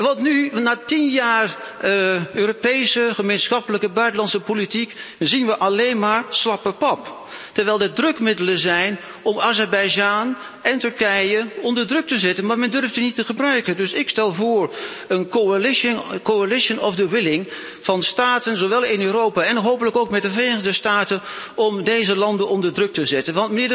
Want nu, na tien jaar Europese gemeenschappelijke buitenlandse politiek, zien we alleen maar slappe pap, terwijl er drukmiddelen zijn om Azerbeidzjan en Turkije onder druk te zetten, maar men durft die niet te gebruiken. Ik stel dus een coalition of the willing voor van staten, zowel in Europa en hopelijk ook met de Verenigde Staten, om deze landen onder druk te zetten.